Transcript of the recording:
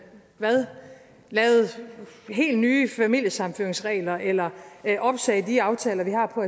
lavede helt nye familiesammenføringsregler eller opsagde de aftaler vi har på